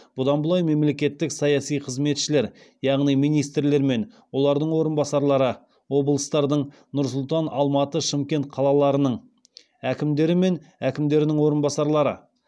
бұдан былай мемлекеттік саяси қызметшілер яғни министрлер мен олардың орынбасарлары облыстардың нұр сұлтан алматы шымкент қалаларының әкімдері мен әкімдерінің орынбасарлары